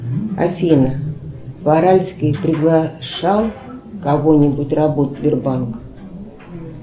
афина варальский приглашал кого нибудь работать в сбербанк